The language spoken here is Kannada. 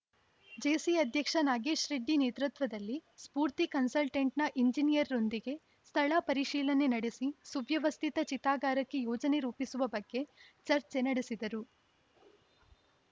ಜೇಸಿ ಅಧ್ಯಕ್ಷ ನಾಗೇಶ್‌ ರೆಡ್ಡಿ ನೇತೃತ್ವದಲ್ಲಿ ಸ್ಫೂರ್ತಿ ಕನ್ಸಲ್ಟೆಂಟ್‌ನ ಎಂಜಿನಿಯರ್‌ರೊಂದಿಗೆ ಸ್ಥಳ ಪರಿಶೀಲನೆ ನಡೆಸಿ ಸುವ್ಯವಸ್ಥಿತ ಚಿತಾಗಾರಕ್ಕೆ ಯೋಜನೆ ರೂಪಿಸುವ ಬಗ್ಗೆ ಚರ್ಚೆ ನಡೆಸಿದರು